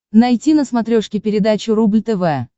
найти на смотрешке передачу рубль тв